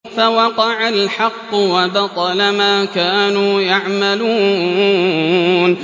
فَوَقَعَ الْحَقُّ وَبَطَلَ مَا كَانُوا يَعْمَلُونَ